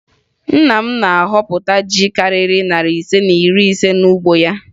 Nna m na-ahọpụta ji karịrị narị ise na iri n'ugbo ya